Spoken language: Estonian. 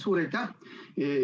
Suur aitäh!